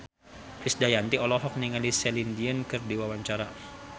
Krisdayanti olohok ningali Celine Dion keur diwawancara